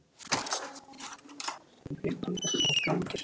Stubbur lítur um öxl og glottir.